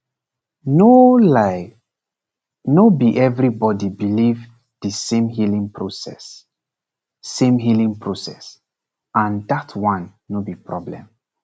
no lie no be everybody believe the same healing process same healing process and that one no be problem